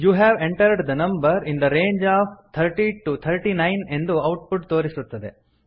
you have entered the number in the range of thirty to thirty nine ಎಂದು output ತೋರಿಸುತ್ತದೆ